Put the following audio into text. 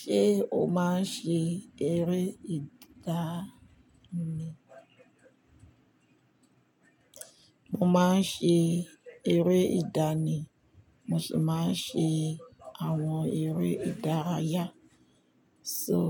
Ṣé o máa ń ṣe eré ìdá ni? Mo máa ń ṣe eré ìdá ni, mo sì máa ń ṣe àwọn eré ìdárayá. So,